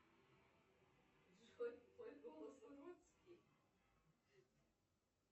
джой твой голос уродский